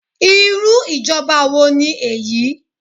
Irú ìjọba wo ni èyí?